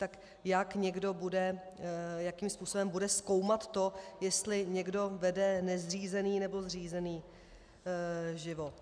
Tak jak někdo bude, jakým způsobem bude zkoumat to, jestli někdo vede nezřízený nebo zřízený život?